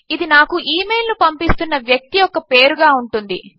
ఇది నాకు ఇమెయిల్ ను పంపిస్తున్న వ్యక్తి యొక్క పేరుగా ఉంటుంది